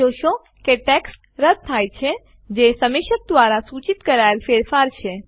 તમે જોશો કે ટેક્સ્ટ રદ્દ થાય છે જે સમીક્ષક દ્વારા સૂચિત કરાયેલ ફેરફાર છે